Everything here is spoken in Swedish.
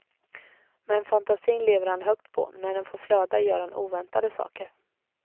Men fantasin lever han högt på, när den får flöda gör han oväntade saker.